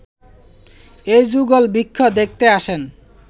এই যুগলবৃক্ষ দেখতে আসেন